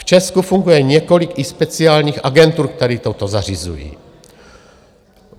V Česku funguje několik i speciálních agentur, které toto zařizují.